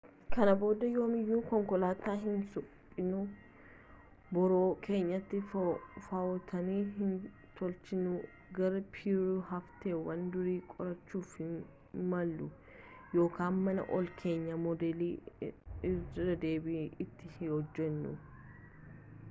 kana booda yoomiyyuu konkolaataa hin suphinu boroo keenyatti faawonteenii hin tolchinu gara peeruu hafteewwan durii qorachuuf hin imalu yookaan mana ollaa keenyaa moodela irradeebii itti hin hojjenu